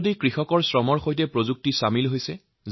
আজি কৃষকসকলৰ পৰিশ্ৰমৰ লগতে প্ৰযুক্তিৰ মিলন হৈছে